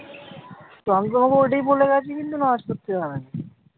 তো আমি তোমাকে ওইটাই বলে রাখি কিন্তু করতে হয়।